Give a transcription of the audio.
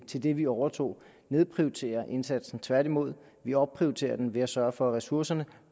til det vi overtog nedprioriterer indsatsen tværtimod vi opprioriterer den ved at sørge for at ressourcerne